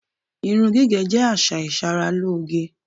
Irun gígè̩ jé̩ às̩à ìs̩aralóge.